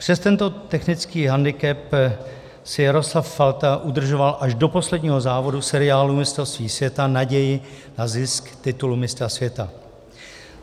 Přes tento technický hendikep si Jaroslav Falta udržoval až do posledního závodu seriálu mistrovství světa naději na zisk titulu mistra světa.